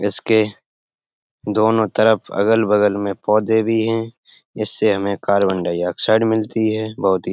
इसके दोनों तरफ अगल-बगल मे पौधे भी हैं इस से हमे कार्बन-डाई-ऑक्साइड मिलती है बहुत ही --